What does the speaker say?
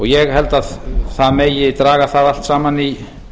ég held að það megi draga það allt saman í